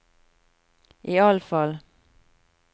iallfall